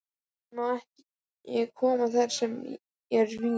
Hann má ekki koma þar sem er vín.